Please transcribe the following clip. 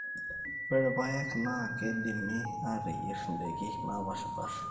ore ipayek naa keidimi ateyierie indaiki naapaasha